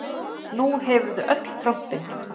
Nú hefurðu öll trompin.